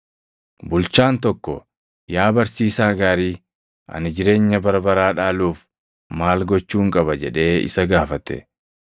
Bulchaan tokko, “Yaa Barsiisaa gaarii, ani jireenya bara baraa dhaaluuf maal gochuun qaba?” jedhee isa gaafate.